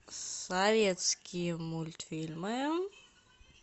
советские мультфильмы